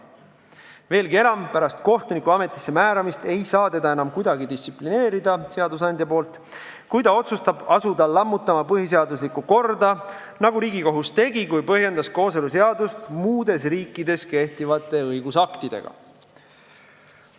Veelgi enam, pärast kohtuniku ametisse määramist ei saa seadusandja teda enam kuidagi distsiplineerida, kui kohtunik otsustab asuda lammutama põhiseaduslikku korda, nagu Riigikohus tegi, kui põhjendas kooseluseadust muudes riikides kehtivate õigusaktidega.